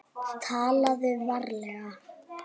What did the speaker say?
TALAÐU VARLEGA